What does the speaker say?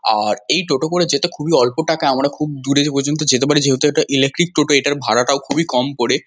আর এই টোটো করে যেতে খুবই অল্প টাকা আমরা খুব দূরের পর্যন্ত যেতে পারি। যেহেতু এটা ইলেকট্রিক টোটো এটার ভাড়াটাও খুবই কম করে।